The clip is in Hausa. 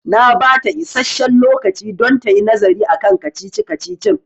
Na bata isasshen lokaci don tayi nazari akan kacici-kacicin